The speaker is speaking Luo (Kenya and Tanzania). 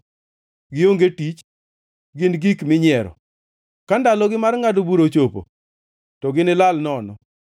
Gionge tich, gin gik minyiero; ka ndalogi mar ngʼado bura ochopo, to ginilal nono.